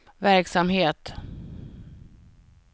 verksamhet